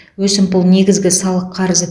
өсімпұл негізгі салық қарызы